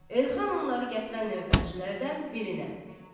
Elxan onları gətirən növbətçilərdən birinə.